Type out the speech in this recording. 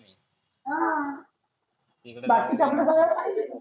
हा बाकी